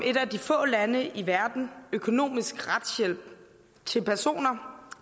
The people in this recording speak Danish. et af de få lande i verden økonomisk retshjælp til personer